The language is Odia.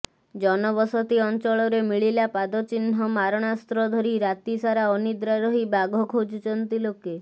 ଜନବସତି ଅଂଚଳରେ ମିଳିଲା ପାଦ ଚିହ୍ନ ମାରଣାସ୍ତ୍ର ଧରି ରାତି ସାରା ଅନିଦ୍ରା ରହି ବାଘ ଖୋଜୁଛନ୍ତି ଲୋକେ